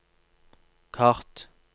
kart